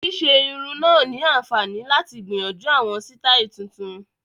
Ṣíṣe irun náà ni àǹfààní láti gbìyànjú àwọn sítáì tuntun